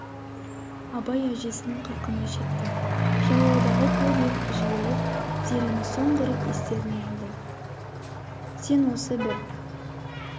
абай әжесінің қырқына жетті жайлаудағы көп ел жиылып зерені соңғы рет естеріне алды сен осы бір